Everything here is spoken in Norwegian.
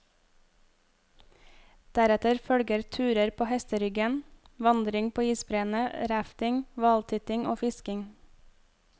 Deretter følger turer på hesteryggen, vandring på isbreene, rafting, hvaltitting og fisking.